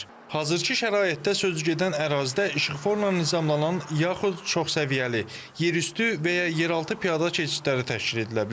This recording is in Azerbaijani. Hazırkı şəraitdə sözügedən ərazidə işıqfornan nizamlanan yaxud çoxsəviyyəli, yerüstü və ya yeraltı piyada keçidləri təşkil edilə bilər.